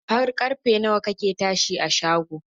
Har karfe kake tashi a shago?.